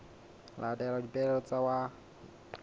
latela dipehelo tsa molao wa